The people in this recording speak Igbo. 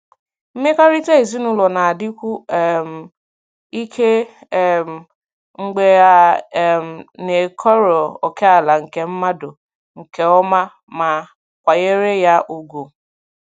Mmekọrịta ezinụlọ na-adịkwu um ike um mgbe a um na-ekọrọ ókèala nke mmadụ nke ọma ma kwanyere ya ùgwù.